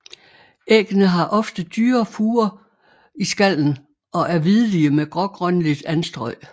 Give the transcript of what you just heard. Æggene har ofte dybe furer i skallen og er hvidlige med grågrønligt anstrøg